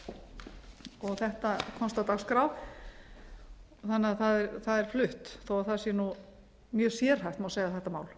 og þetta komst á dagskrá þannig að það er flutt þó að það sé mjög sérhæft má segja þetta mál